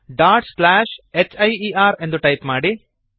hier dot slash here ಎಂದು type ಮಾಡಿರಿ